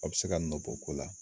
A be se ka nɔ bɔ ko la.